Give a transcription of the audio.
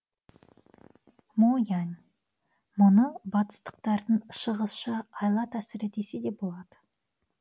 мо янь мұны батыстықтардың шығысша айла тәсілі десе де болады